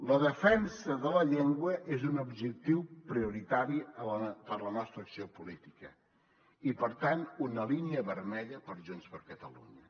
la defensa de la llengua és un objectiu prioritari per la nostra acció política i per tant una línia vermella per junts per catalunya